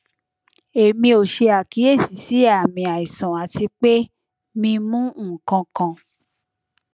emi o se akiyesi si aami aisan ati pe mi mu nkankan